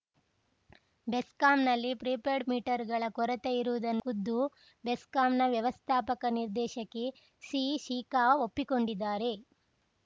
ಬೆಸ್ಕಾಂನಲ್ಲಿ prepaid ಮೀಟರ್‌ಗಳ ಕೊರತೆಯಿರುವುದನ್ನು ಖುದ್ದು ಬೆಸ್ಕಾಂನ ವ್ಯವಸ್ಥಾಪಕ ನಿರ್ದೇಶಕಿ ಸಿಶಿಖಾ ಒಪ್ಪಿಕೊಳ್ಳುತ್ತಾರೆ